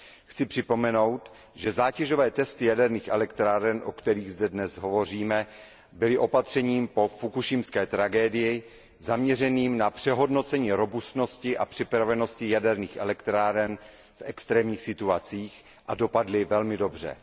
Chci připomenout, že zátěžové testy jaderných elektráren, o kterých zde dnes hovoříme, byly opatřením po fukušimské tragédii zaměřeným na přehodnocení robustnosti a připravenosti jaderných elektráren v extrémních situacích a dopadly velmi dobře.